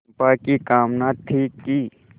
चंपा की कामना थी कि